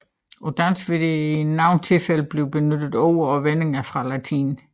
På dansk vil der i nogle tilfælde blive benyttet ord og vendinger fra latin